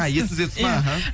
а есіңізге түсті ма іхі